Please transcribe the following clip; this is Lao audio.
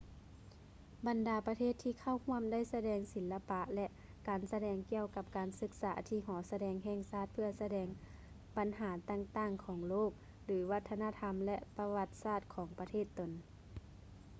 ບັນດາປະເທດທີ່ເຂົ້າຮ່ວມໄດ້ສະແດງສິລະປະ ແລະ ການສະແດງກ່ຽວກັບການສຶກສາທີ່ຫໍສະແດງແຫ່ງຊາດເພື່ອສະແດງບັນຫາຕ່າງໆຂອງໂລກ ຫຼື ວັດທະນະທຳ ແລະ ປະຫວັດສາດຂອງປະເທດຕົນ